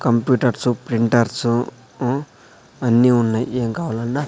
computers printers ఉ అన్ని ఉన్నాయి ఏం కావాలన్నా--